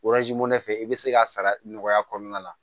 fɛ i bɛ se ka sara nɔgɔya kɔnɔna la